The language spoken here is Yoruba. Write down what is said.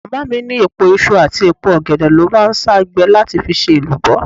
Màmá mi ní èpo iṣu àti èpo ọ̀gẹ̀dẹ̀ ló máa ń sá gbẹ láti fi ṣe èlùbọ́.